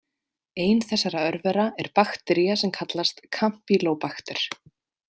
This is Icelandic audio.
Ein þessara örvera er baktería sem kallast kampýlóbakter.